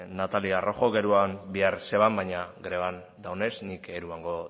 natalia rojok eraman behar zuen baina greban dagoenez nik eramango